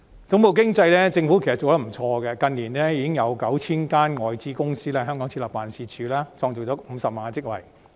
總部經濟方面，其實政府做得不錯，近年已經有 9,000 間外資公司在香港設立辦事處，創造50萬個職位。